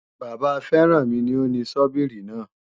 Bàbá Férànmi ni ó ni Sọ́bíìrì náà